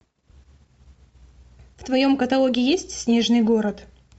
в твоем каталоге есть снежный город